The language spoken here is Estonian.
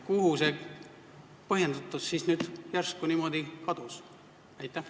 Kuhu see põhjendus järsku niimoodi kadus?